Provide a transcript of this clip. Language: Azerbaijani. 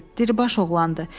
Diribaş oğlandır.